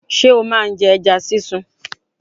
Ṣé o ma ń jẹ ẹja sísun?